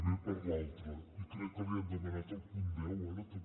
b per l’altre i crec que li han demanat el punt deu ara també